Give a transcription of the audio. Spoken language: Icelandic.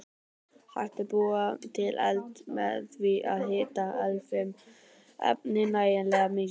Hægt er að búa til eld með því að hita eldfim efni nægilega mikið.